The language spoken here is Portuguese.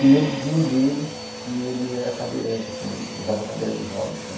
E lembro de um deles que ele era cadeirante, assim, usava cadeira de rodas, né?